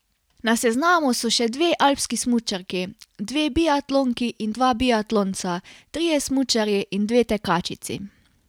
Na seznamu so še dve alpski smučarki, dve biatlonki in dva biatlonca, trije smučarji in dve tekačici.